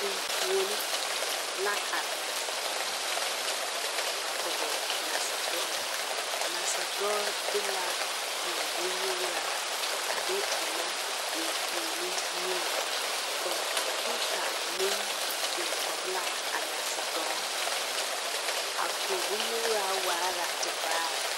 Enfuoni la are a kɔɡe nasadɔɔ nasadɔɔ de la kõɔ bonnyuuraa a de ennɛ a enfuoniŋ peepa meŋ biŋ kɔɡe la a nasadɔɔ a kõɔ bonnyuuraa waa la tevaare.